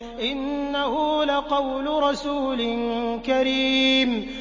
إِنَّهُ لَقَوْلُ رَسُولٍ كَرِيمٍ